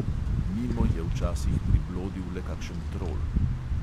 Mimo je včasih priblodil le kakšen trol.